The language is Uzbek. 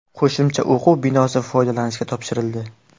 Qo‘shimcha o‘quv binosi foydalanishga topshirildi.